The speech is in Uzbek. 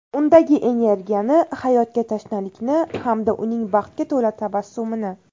Undagi energiyani, hayotga tashnalikni hamda uning baxtga to‘la tabassumini.